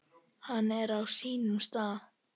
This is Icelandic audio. Hann er á sínum stað.